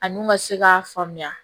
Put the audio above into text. A n'u ma se k'a faamuya